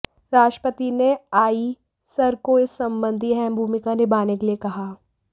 राष्ट्रपति ने आईसर को इस संबंधी अहम भूमिका निभाने के लिए कहा